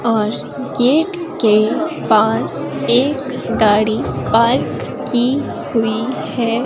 और गेट के पास एक गाड़ी पार्क की हुई है।